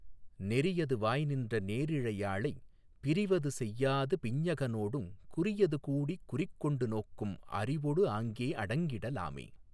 நெறியது வாய்நின்ற நேரிழை யாளைப் பிறிவது செய்யாது பிஞ்ஞக னோடுங் குறியது கூடிக் குறிக்கொண்டு நோக்கும் அறிவொடு ஆங்கே அடங்கிட லாமே.